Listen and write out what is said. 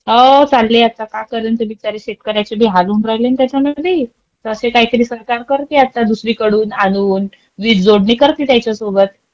हो, चालले आता, काय करन, ते बिचारे शेतकऱ्याचे बी हाल होऊन राहिले ना त्याच्यानबी. तसं काहीतरी सरकार करती आता दुसरीकडून आणून वीज जोडणी करती त्याच्यासोबत.